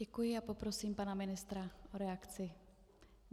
Děkuji a poprosím pana ministra o reakci.